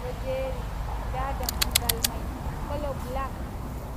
ɗo jeri nda dammugal mai kolo bilak.